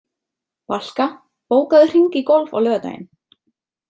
Valka, bókaðu hring í golf á laugardaginn.